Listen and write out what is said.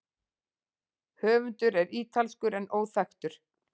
Höfundur er ítalskur en óþekktur.